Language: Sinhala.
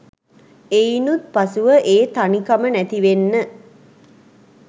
එයිනුත් පසුව ඒ තනිකම නැතිවෙන්න